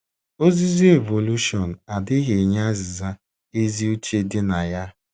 Ozizi evolushọn adịghị enye azịza ezi uche dị na ya.